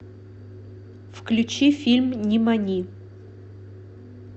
включи фильм нимани